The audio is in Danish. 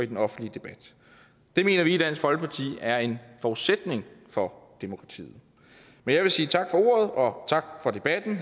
den offentlige debat det mener vi i dansk folkeparti er en forudsætning for demokratiet men jeg vil sige tak for ordet og tak for debatten